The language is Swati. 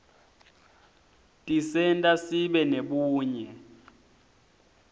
tisenta sibe nebunye